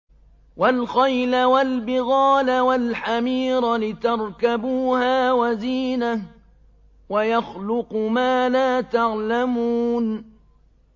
وَالْخَيْلَ وَالْبِغَالَ وَالْحَمِيرَ لِتَرْكَبُوهَا وَزِينَةً ۚ وَيَخْلُقُ مَا لَا تَعْلَمُونَ